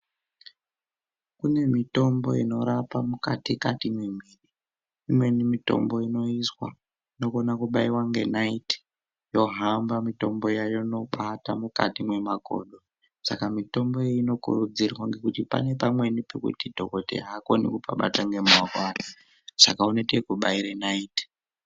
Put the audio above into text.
Kune mitombo inorapa mukati kati memwiri imweni mitombo inoiswa inokona kubaiwa ngenaiti yohamba mitombo iya yonobata mukati mwemakodo saka mitombo iyi inokurudzirwa ngekuti pane pamweni pekuti dhokodheya aakoni kupabata ngemaoko ake saka unoita ekubaire naiti.